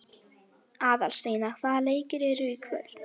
Aðalsteina, hvaða leikir eru í kvöld?